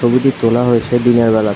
ছবিটি তোলা হয়েছে দিনের বেলায় ।